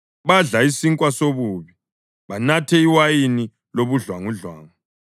Badla isinkwa sobubi banathe iwayini lobudlwangudlwangu.